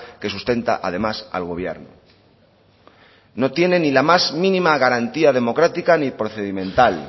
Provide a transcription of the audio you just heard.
que sustenta además al gobierno no tiene ni la más mínima garantía democrática ni procedimental